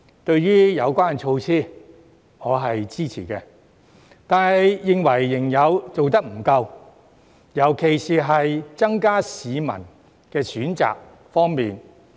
對於有關措施，我是支持的，但認為仍然做得不夠，尤其是增加市民的選擇方面。